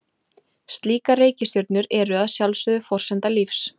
Slíkar reikistjörnur eru að sjálfsögðu forsenda lífs.